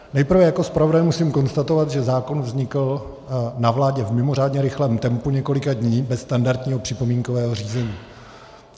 Nejprve jako zpravodaj musím konstatovat, že zákon vznikl na vládě v mimořádně rychlém tempu několika dní bez standardního připomínkového řízení.